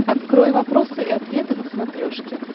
открой вопросы и ответы на смотрешке